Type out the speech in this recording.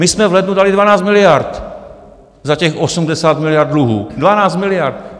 My jsme v lednu dali 12 miliard za těch 80 miliard dluhů, 12 miliard.